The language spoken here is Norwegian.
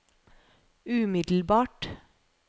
umiddelbart